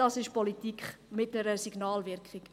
Das ist Politik mit einer Signalwirkung.